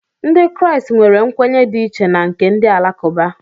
Ndị Kraịst nwere nkwenye dị iche na nke ndị Alakụba